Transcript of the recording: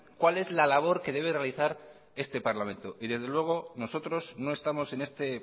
cuál es la labor que debe realizar este parlamento y desde luego nosotros no estamos en este